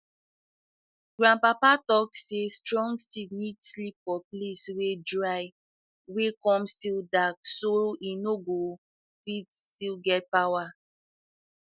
grandpapa talk say strong seed need sleep for place wey dry um come still dark so e um go fit still get power